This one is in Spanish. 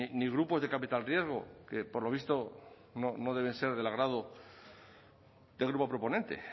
ni grupos de capital riesgo que por lo visto no deben ser del agrado del grupo proponente